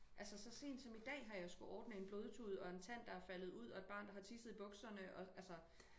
Altså så sent som i dag har jeg skulle ordne en blodtud og en tand der er faldet ud og et barn der har tisset i bukserne og altså